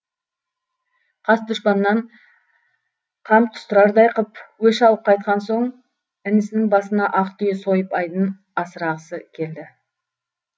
қас дұшпаннан қан құстырардай қып өш алып қайтқан соң інісінің басына ақ түйе сойып айдын асырғысы келді